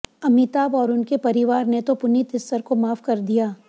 अमिताभ और उनके परिवार ने तो पुनीत इस्सर को माफ कर दिया